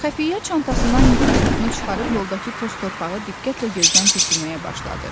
Xəfiyyə çantasından mikroskopunu çıxarıb yoldakı toz torpağı diqqətlə gözdən keçirməyə başladı.